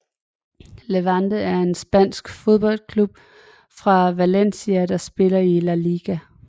Levante er en spansk fodboldklub fra Valencia der spiller i La Liga